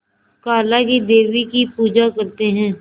काला क़ी देवी की पूजा करते है